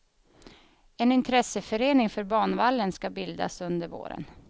En intresseförening för banvallen skall bildas under våren.